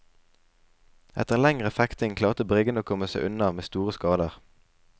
Etter en lengre fekting klarte briggene å komme seg unna med store skader.